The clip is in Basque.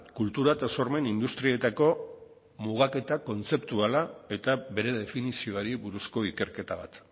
kultura eta sormen industrietako mugaketa kontzeptuala eta bere definizioari buruzko ikerketa bat